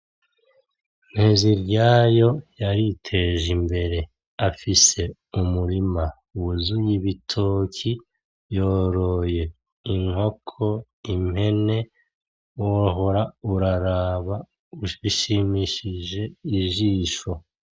NTEZIRYAYO yaritejimbere afise umurima wuzuye ibitoki yoroye inkoko, impene wohora uraraba bishimishije ijisho.